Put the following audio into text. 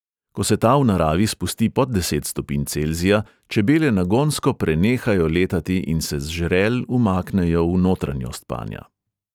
Ko se ta v naravi spusti pod deset stopinj celzija, čebele nagonsko prenehajo letati in se z žrel umaknejo v notranjost panja.